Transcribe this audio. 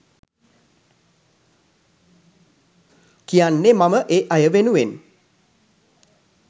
කියන්නේ මම ඒ අය වෙනුවෙන්